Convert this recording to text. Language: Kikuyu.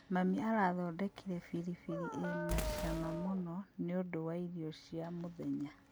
Mami arathondekire biribiri ĩna cama mũno nĩũndũ wa irio cia mũthenya